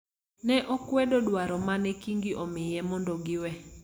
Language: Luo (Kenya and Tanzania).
ne okwedo dwaro ma ne Kingi omiye mondo giwe.